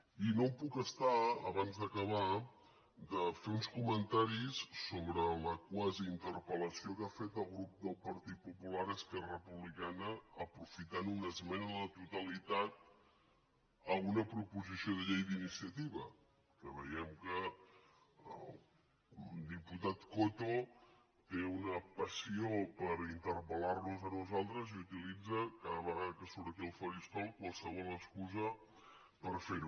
i no em puc estar abans d’acabar de fer uns comentaris sobre la quasi interpel·lació que ha fet el grup del partit popular a esquerra republicana aprofitant una esmena a la totalitat a una proposició de llei d’iniciativa que veiem que el diputat coto té una passió per interpellitza cada vegada que surt aquí al faristol qualsevol excusa per fer ho